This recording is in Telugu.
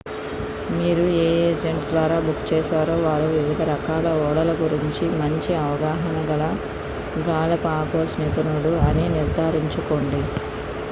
మీరు ఏ ఏజెంట్ ద్వారా బుక్ చేశారో వారు వివిధ రకాల ఓడల గురించి మంచి అవగాహన గల గాలపాగోస్ నిపుణుడు అని నిర్ధారించుకోండి